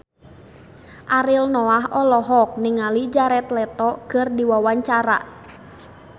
Ariel Noah olohok ningali Jared Leto keur diwawancara